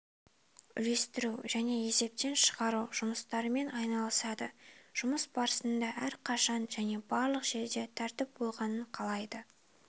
үлестіру және есептен шығару жұмыстарымен айналысады жұмыс барысында әрқашан және барлық жерде тәртіп болғанын қалайды